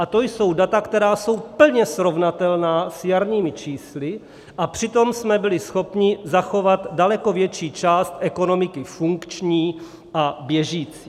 A to jsou data, která jsou plně srovnatelná s jarními čísly, a přitom jsme byli schopni zachovat daleko větší část ekonomiky funkční a běžící.